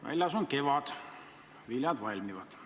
Väljas on kevad, viljad valmivad.